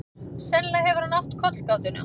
Sennilega hefur hann átt kollgátuna.